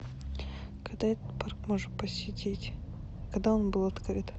когда этот парк можно посетить когда он был открыт